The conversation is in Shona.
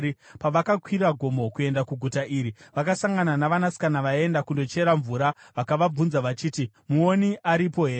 Pavaikwira gomo kuenda kuguta iri, vakasangana navasikana vaienda kundochera mvura, vakavabvunza vachiti, “Muoni aripo here?”